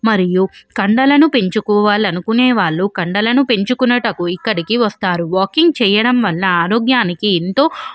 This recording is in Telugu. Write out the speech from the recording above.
మరియు కండలను పెంచుకునే వాళ్ళు కండలను పెంచుకొనుటకు ఇక్కడికి వస్తారు మరియు వాకింగ్ చేయడం వల్ల ఆరోగ్యానికి ఎంతో --